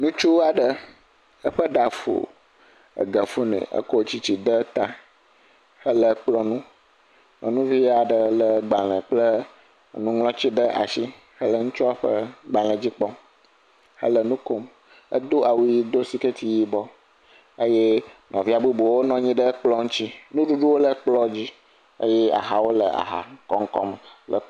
Nutsu aɖe, eƒe ɖa fu, ege fu nɛ, ekɔ tsitsi de ta hele kplɔ̃nu. Nyɔnuvi aɖe légbalẽ kple nuŋlɔtsi ɖe ashi hele ŋutsua ƒe gbalẽdzi kpɔm hele nu kom. Edo awu ʋi do sikɛti yibɔ eye nɔvia bubuwo nɔ nyi ɖe ekplɔ̃ ŋtsi. Nuɖuɖuwo le kplɔ̃dzi eye ahawo le ahakoŋkɔme le.